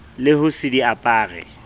le ho se di apare